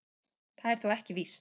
Það er þó ekki víst